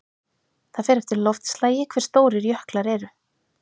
Það fer eftir loftslagi hve stórir jöklar eru.